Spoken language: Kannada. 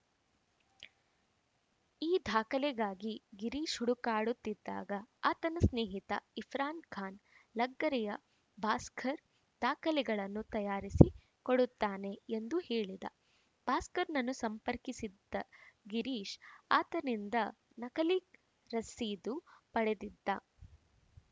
ಈ ದಾಖಲೆಗಾಗಿ ಗಿರೀಶ್‌ ಹುಡುಕಾಡುತ್ತಿದ್ದಾಗ ಆತನ ಸ್ನೇಹಿತ ಇರ್ಫಾನ್‌ ಖಾನ್‌ ಲಗ್ಗೆರೆಯ ಭಾಸ್ಕರ್‌ ದಾಖಲೆಗಳನ್ನು ತಯಾರಿಸಿ ಕೊಡುತ್ತಾನೆ ಎಂದು ಹೇಳಿದ ಭಾಸ್ಕರ್‌ನನ್ನು ಸಂಪರ್ಕಿಸಿದ್ದ ಗಿರೀಶ್‌ ಆತನಿಂದ ನಕಲಿ ರಶೀದು ಪಡೆದಿದ್ದ